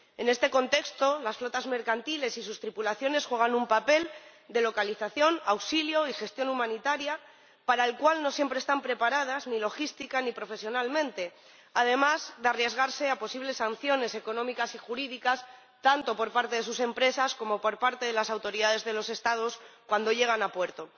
En este contexto, las flotas mercantiles y sus tripulaciones juegan un papel de localización, auxilio y gestión humanitaria para el cual no siempre están preparadas ni logística ni profesionalmente, además de arriesgarse a posibles sanciones económicas y jurídicas tanto por parte de sus empresas como por parte de las autoridades de los Estados cuando llegan a puerto.